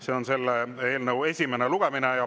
See on selle eelnõu esimene lugemine.